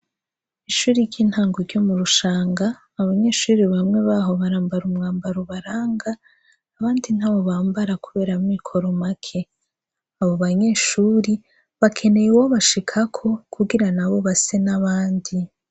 Ishuri ry'intangu ryo mu rushanga abanyeshuri bamwe baho barambara umwambara ubaranga abandi nta bo bambara kuberamwo ikoromake abo banyeshuri bakeneye uwobashikako kugira na bo base n'abandi.